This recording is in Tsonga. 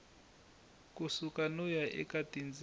suka no ya eka tindzimi